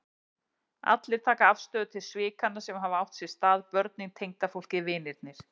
Allir taka afstöðu til svikanna sem hafa átt sér stað, börnin, tengdafólkið, vinirnir.